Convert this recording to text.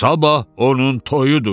Sabah onun toyudur.